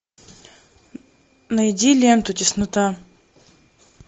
найди ленту теснота